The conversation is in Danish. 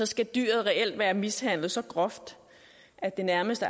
skal dyret reelt være mishandlet så groft at det nærmest